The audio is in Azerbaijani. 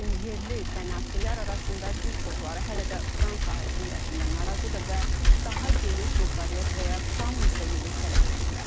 Lakin yerli kanakilər arasında bir çoxları hələ də Fransa hakimiyyətindən narazıdır və daha geniş muxtariyyət və ya tam müstəqillik tələb edirlər.